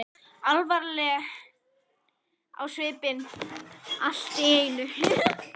Alvarleg á svipinn allt í einu.